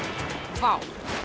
vá